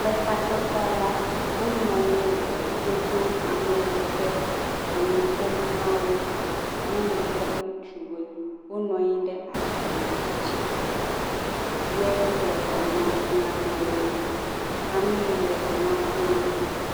Le takpekpea la wonɔ anyi le to ɖom ame yike enu ƒom nawo nyɔnu kple ŋutsuwo wonɔ anyi ɖe azikpui ɣi dzi ye wole fiam wo amee le nua fiam